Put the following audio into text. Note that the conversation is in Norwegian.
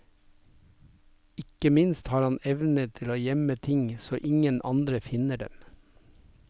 Ikke minst har han evnen til å gjemme ting så ingen andre finner dem.